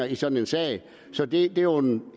i sådan en sag så det er jo en